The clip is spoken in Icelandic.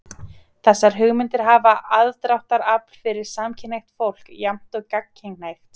Þessar hugmyndir hafa aðdráttarafl fyrir samkynhneigt fólk jafnt og gagnkynhneigt.